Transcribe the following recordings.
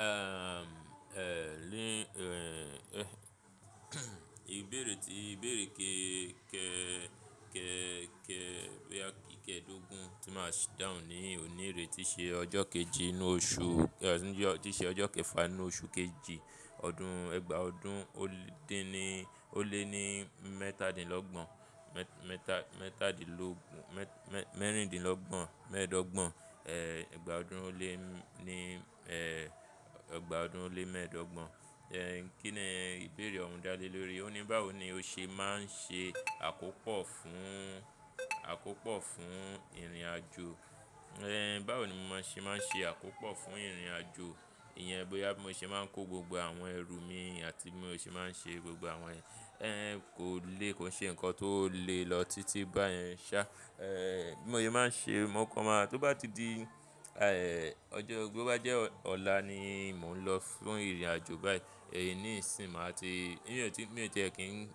Ehm, eh, lé, eh, ìbéèrè tí, ìbéèrè ké ké ké ké, bóyá ikẹ dogun tí máa sì dáhùn ní òní rè tí ṣe ọjọ́ kejì inú oṣù, tí ṣe ọjọ́ kẹfà inú oṣù keje ọdún, ìgbà ọdún ó lé ní, ó lé ní mẹ́tàdínlọ́gbọ̀n, mẹ́tàdínlógún, mẹ́rìndínlọ́gbọ̀n, mẹ́ẹ̀dọ́gbọ̀n, eh, ìgbà ọdún ó lé ní, eh, ìgbà ọdún ó lé mẹ́ẹ̀dọ́gbọ̀n. Eh, kí ni ìbéèrè ọ̀hún dá lé lórí? Ó ní báwo ni ó ṣe máa ń ṣe àkópọ̀ fún, àkópọ̀ fún ìrìnàjò? Eh, báwo ni máa ṣe máa ń ṣe àkópọ̀ fún ìrìnàjò? Ìyẹn bóyá bí mo ṣe máa ń kó gbogbo àwọn ẹrù mi àti bí mo ṣe máa ń ṣe gbogbo àwọn ẹ eh, kò le, kò ṣe nǹkan tó le lọ títí báyẹn ṣá. Eh, bí mo ye máa ń ṣe mọ́kànma, tó bá ti di, eh, ọjọ́, bó bá jẹ́ ọ̀la ni mò ń lọ fún ìrìnàjò báyìí, èní insìn máa ti,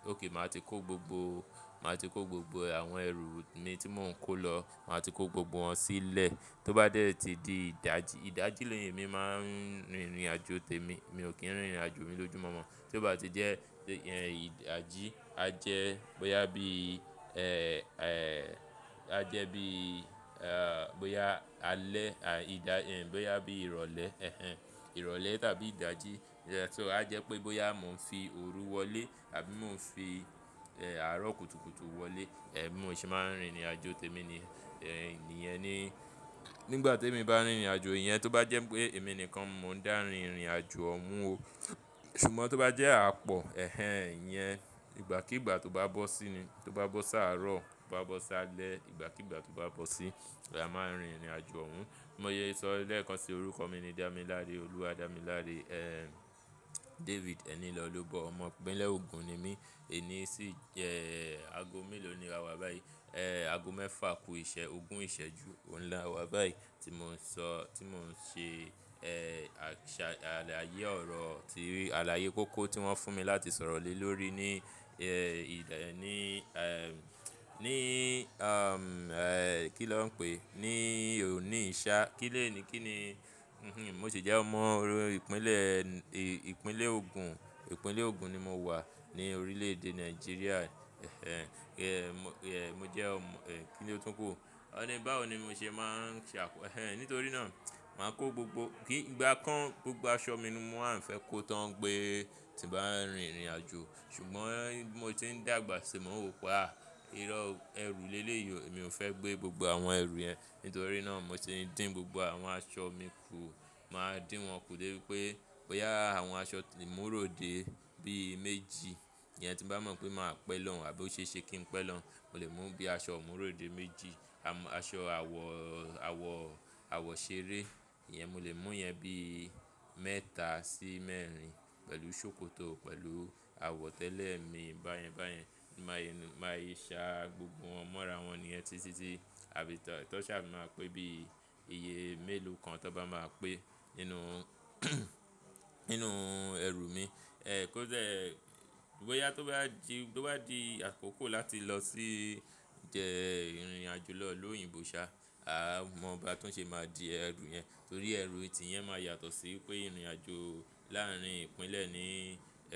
okay máa ti kó gbogbo, máa ti kó gbogbo àwọn ẹrù mi tí mò ń kó lọ, máa ti kó gbogbo wọn sílẹ̀. Tó bá dẹ̀ tí di ìdájí, ìdájí ni èmi máa ń rìn ìrìnàjò tèmi. Mi ò kí ń rìn ìrìnàjò mi lójúmọ̀mọ́. Tó bá ti jẹ́ pé ìyẹn ìdájí, a jẹ́ bóyá bí, eh, eh, a jẹ́ bí, eh, bóyá alẹ́, àí ìdá, bóyá bí ìrọ̀lẹ́, ẹhẹn, ìrọ̀lẹ́ tàbí ìdájí. So a jẹ́ pé bóyá mò ń fi òru wọlé àbí mò ń fi, eh, àárọ̀ kùtùkùtù wọlé, eh, bí mo ṣe máa ń rìn ìrìnàjò tèmi ni, eh, ìyẹn ni. Nígbà tí èmi bá ń rìn ìrìnàjò, ìyẹn tó bá jẹ́ pé èmi nìkan, mò ń dá rìn ìrìnàjò ọ̀ún o. Ṣùgbọ́n tó bá jẹ́ àpọ̀, ẹhẹn, ìyẹn ìgbàkígbà tó bá bọ́ sí ni, tó bá bọ́ sáàárọ̀, tó bá bọ́ sáálẹ́, ìgbàkígbà tó bá bọ́ sí, a máa rìn ìrìnàjò ọ̀ún. Mo ye sọ lẹ́ẹ̀kan sí orúkọ mi ni Damilare, Oluwadamilare, eh, David ẹnilọlobọ, ọmọ ìpínlẹ̀ Ogun ni mí. Èní sì jẹ́ ago mélòó ni a wà báyìí? Eh, ago mẹ́fà kú ìṣẹ́, ogún ìṣẹ́ ju ohun la wà báyìí tí mò ń sọ, tí mò ń ṣe, eh, àṣà, àlàyé ọ̀rọ̀ tí, àlàyé kóko tí wọ́n fún mi láti sọ̀rọ̀ lé lórí ní, eh, ìlẹ̀ ní, eh, ní, kí na ń pé? Ní òní i ṣa. Kílé ni, kí ni, mo sì jẹ́ ọmọ orí ìpínlẹ̀, ìpínlẹ̀ Ogun, ìpínlẹ̀ Ogun ni mo wà ní orílẹ̀ èdè Nigeria. Mo jẹ́ ọmọ, kí ni ó tún kú? Ó ní báwo ni mo ṣe máa ń ṣe àkópọ̀? Nítorí náà, màá kó gbogbo-- kí ìgbà kan gbogbo aṣọ mi mo á fẹ́ kó tán pe tí n bá ń rìn ìrìnàjò. Ṣùgbọ́n bí mo ti ń dàgbà sì mo ń wo pé, irọ̀ o, ẹrù lélèyì o, mi ò fẹ́ gbé gbogbo àwọn ẹrù yẹn. Nítorí náà, mo ti dín gbogbo àwọn aṣọ mi kù. Màá dín wọn kù débi pé bóyá àwọn aṣọ imuròde bí méjì, ìyẹn tí n bá mọ̀ pé màá pẹ́ lọ̀ún àbí ó ṣe é ṣe kí n pẹ́ lọun, mo lè mú bí i aṣọ imuròde méjì. Aṣọ àwọ̀, àwọ̀, àwọ̀ ṣeré, ìyẹn mo lè mú yẹn bí i mẹ́ta sí mẹ́rin pẹ̀lú sókótò pẹ̀lú àwọ̀ tẹ́lẹ̀ mi báyẹn báyẹn. Máa ye ṣá gbogbo wọn mọ́ra wọn níyẹn títítí àbí tọ̀ṣà máa pe bí i iye mélòó kan tó bá máa pẹ́ nínú, nínú ẹrù mi. Kó dẹ, bóyá tó bá di, bó bá di àkókò láti lọ sí jẹ́ ìrìnàjò lọ ìlú oyìnbó ṣá, a mọ̀ bá tún ṣe máa di ẹrù yẹn. Torí ẹrù tì yẹn máa yàtọ̀ sí pé ìrìnàjò láàárín ìpínlẹ̀ ní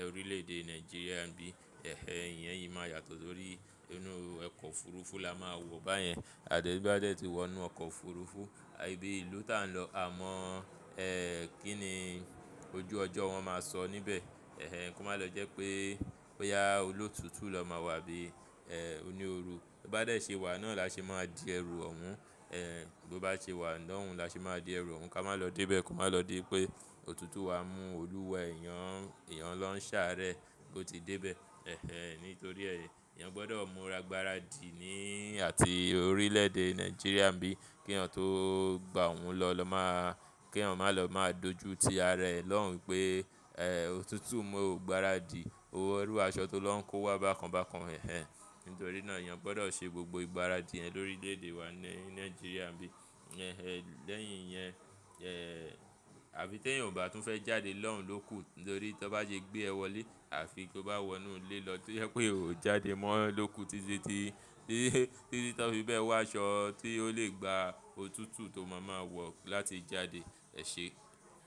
orílẹ̀ èdè Nigeria nbí. Ìyẹn yìí máa yàtọ̀ torí inú ọkọ̀ òfuurufú la máa wọ̀ báyẹn. Àdá bí bá dé tí wọ inú ọkọ̀ òfuurufú, ibi ìlú tí à ń lọ, a mọ̀, eh, kí ni ojú ọjọ́ wọn máa sọ níbẹ̀. Eh, ẹ́ kò má lọ jẹ́ pé bóyá olótútù lọ máa wà bíi, eh, oní ooru. Bó bá dé ṣe wà náà la ṣe máa di ẹrù ọ̀ún. Bó bá ṣe wà lọ́ùn la ṣe máa di ẹrù ọ̀ún. Ká má lọ dé bẹ́ẹ̀ kò má lọ dipé òtútù wa mú olúwa èèyàn, èèyàn lọ́ ń ṣàárẹ̀ bó ti dé bẹ́ẹ̀. Nítorí ẹ́, èèyàn gbọ́dọ̀ múra gbaradì ní àti orílẹ̀ èdè Nigeria nbí, kí èèyàn tó gba ọun lọ lọ máa, kí èèyàn má lọ máa dojú tí ara ẹ̀ lọ́hun pé, òtútù mú o gbaradì, wó irú aṣọ tó lọ́ ń kó wá bákan bákan. Nítorí náà èèyàn gbọ́dọ̀ ṣe gbogbo ìgbáradì yẹn lórílẹ̀ èdè wa ní Nigeria bí. Lẹ́yìn iyẹn, àfi tí èèyàn ò bá tún fẹ́ jáde lọ́hun lóku. Nítorí tán bá ṣe gbé ẹ wọlé àfi tó bá wọ inú ilé lọ, tó yẹ pé ò jáde mọ́ lóku títí tí, títí tí wọ́n fi ba ẹ wá aṣọ tí ó lè gba òtútù tó máa máa wọ̀ láti jáde. Ẹ̀ṣe.